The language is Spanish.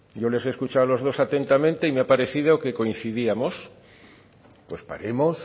yo les he escuchado a los dos atentamente y me ha parecido que coincidíamos pues paremos